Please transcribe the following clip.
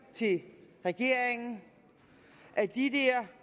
til regeringen at de